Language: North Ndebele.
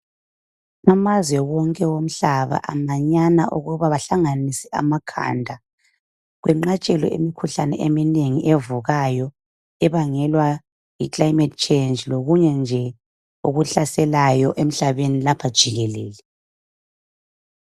Amazwe wonke omhlaba amanyana ukuba bahlanganise amakhanda kwenqatshelwe imikhuhlane eminengi evukayo ebangelwa yi "Climate change" lokunye nje okuhlaselayo emhlabeni lapha jikelele.